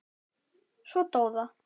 Svo dó það.